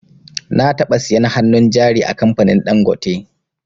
Na taɓa siyan hannun jari a kamfanin dangote